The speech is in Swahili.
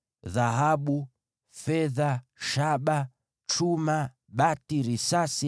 Dhahabu, fedha, shaba, chuma, bati, risasi,